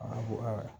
A ko aa